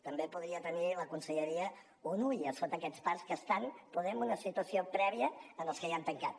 també podria tenir la conselleria un ull a sota aquests parcs que estan poder en una situació prèvia als que ja han tancat